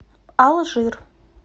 алжир